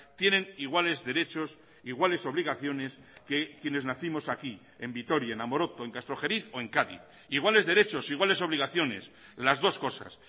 tienen iguales derechos iguales obligaciones que quienes nacimos aquí en vitoria en amoroto en castrojeriz o en cádiz iguales derechos iguales obligaciones las dos cosas